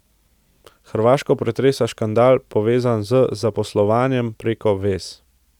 Hrvaško pretresa škandal, povezan z zaposlovanjem preko vez.